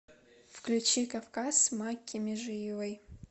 включи кавказ макки межиевой